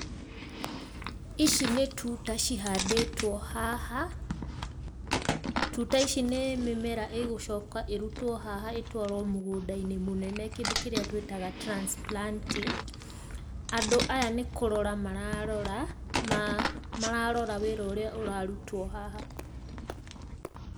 Ici nĩ tuta cihandĩtwo haha, tuta ici nĩ mĩmera ĩgũcoka ĩrutwo haha ĩtwarwo mũgũnda-inĩ mũnene kĩndũ kĩrĩa twĩtaga transplanting, andũ aya nĩ kũrora mararora ma mararora wĩra ũrĩa ũrarutwo haha.